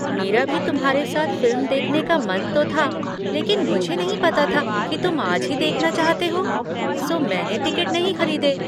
मेरा भी तुम्हारे साथ फिल्म देखने का मन तो था लेकिन मुझे नहीं पता था कि तुम आज ही देखना चाहते हो, सो मैंने टिकट नहीं खरीदे।